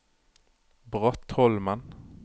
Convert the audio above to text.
Brattholmen